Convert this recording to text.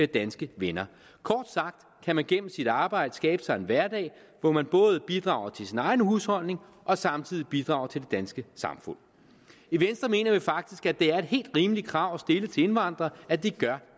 danske venner kort sagt kan man gennem sit arbejde skaffe sig en hverdag hvor man både bidrager til sin egen husholdning og samtidig bidrager til det danske samfund i venstre mener vi faktisk at det er et helt rimeligt krav at stille til indvandrere at de